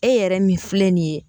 E yɛrɛ min filɛ nin ye